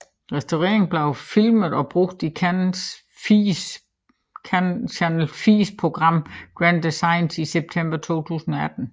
Restaureringen blev filmet og brugt i Channel 4s program Grand Designs i september 2018